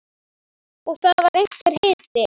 Og það var einhver hiti.